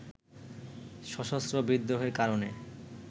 সশস্ত্র বিদ্রোহের কারণে